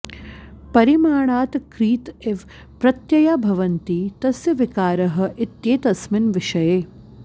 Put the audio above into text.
परिमाणात् क्रीत इव प्रत्यया भवन्ति तस्य विकारः इत्येतस्मिन् विषये